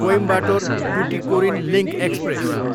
Coimbatore, Tuticorin link express